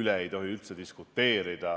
üle ei tohi üldse diskuteerida.